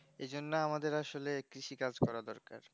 এইজন্য আসলে আমাদের কৃষিকাজ করা দরকার